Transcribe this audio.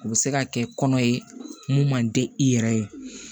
U bɛ se ka kɛ kɔnɔ ye mun man di i yɛrɛ ye